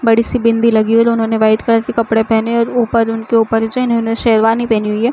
बड़ी सी बिंदी लगी हुई दोनों ने व्हाइट कलर के कपड़े पहने है और ऊपर उनके ऊपर जो है न उन्होंने शेरवानी पहनी हुई है।